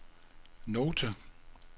note